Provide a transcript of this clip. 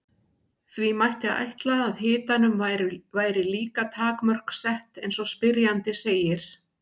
því mætti ætla að hitanum væri líka takmörk sett eins og spyrjandi segir